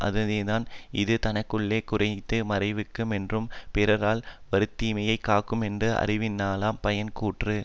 அதுதானே இது தனக்குள்ள குற்றத்தை மறைக்கு மென்றும் பிறரால் வருந்தீமையைக் காக்குமென்றும் அறிவினாலாம் பயன் கூறிற்று